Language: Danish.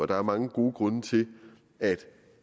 der er mange gode grunde til at